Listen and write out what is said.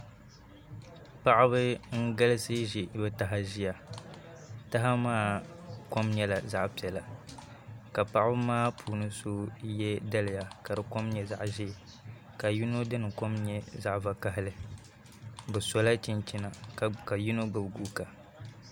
Paɣaba n galisi ʒi bi taha ʒiya taha maa kom nyɛla zaɣ piɛla ka paɣaba maa puuni so yɛ daliya ka di kom nyɛ zaɣ ʒiɛ ka yino dini kom nyɛ zaɣ vakaɣali bi sola chinchina ka yino gbubi guuka